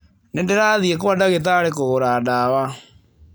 Nĩ ndĩrathiĩ kwa ndagĩtarĩ kũgũra ndawa.